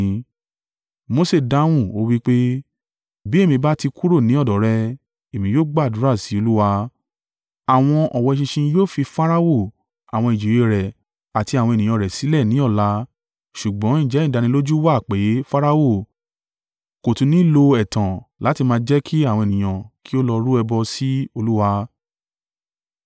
Mose dáhùn ó wí pé, “Bí èmi bá ti kúrò ní ọ̀dọ̀ rẹ, èmi yóò gbàdúrà sí Olúwa, àwọn ọ̀wọ́ eṣinṣin yóò fi Farao, àwọn ìjòyè rẹ, àti àwọn ènìyàn rẹ sílẹ̀ ní ọ̀la ṣùgbọ́n ǹjẹ́ ìdánilójú wa pé Farao kò tún ni lo ẹ̀tàn láti má jẹ́ kí àwọn ènìyàn kí ó lọ rú ẹbọ sí Olúwa.”